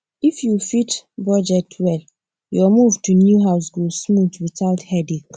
if you fit budget well your move to new house go smooth without headache